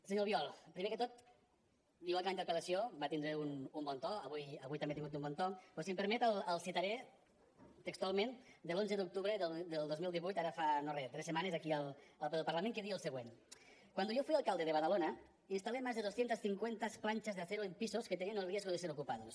senyor albiol primer que tot igual que la interpel·lació va tindre un bon to avui també ha tingut un bon to però si em permet el citaré textualment de l’onze d’octubre del dos mil divuit ara fa no re tres setmanes aquí al ple del parlament que deia el següent cuando yo fui alcalde de badalona instalé más de doscientas cincuenta planchas de acero en pisos que tenían el riesgo de ser ocupados